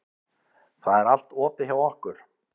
Það er allt opið hjá okkur.